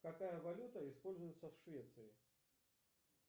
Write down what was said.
какая валюта используется в швеции